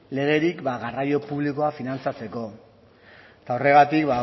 legerik garraio publikoa finantzatzeko eta horregatik